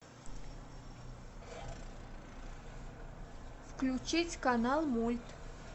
включить канал мульт